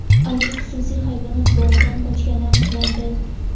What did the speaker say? Ayiq xususiy hayvonot bog‘idan qochgani aniqlandi.